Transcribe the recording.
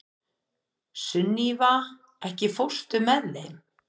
Sunniva, ekki fórstu með þeim?